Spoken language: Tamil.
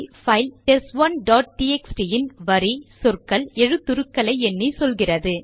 பைல் டெஸ்ட்1 டாட் டிஎக்ஸ்டி இன் வரி சொற்கள் எழுத்துருக்களை எண்ணி சொல்கிறது